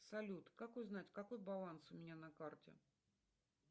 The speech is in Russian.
салют как узнать какой баланс у меня на карте